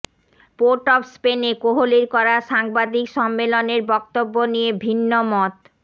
port of স্পেনে কোহলির করা সাংবাদিক সম্মেলনের বক্তব্য নিয়ে ভিন্ন মত